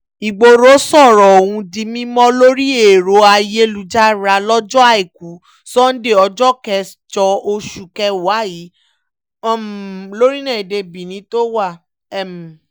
ìgboro sọ̀rọ̀ ọ̀hún di mímọ́ lórí ẹ̀rọ ayélujára lọ́jọ́ àìkú sannde ọjọ́ kẹjọ oṣù kẹwàá yìí um lórílẹ̀‐èdè benin tó wà um